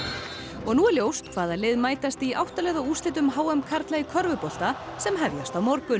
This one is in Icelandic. og nú er ljóst hvaða lið mætast í átta liða úrslitum h m karla í körfubolta sem hefjast á morgun